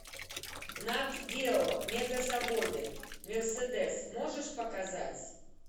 нат гео мегазаводы мерседес можешь показать